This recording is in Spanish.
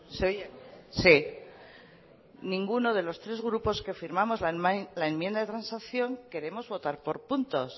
se oye sí ninguno de los tres grupos que firmamos la enmienda de transacción queremos votar por puntos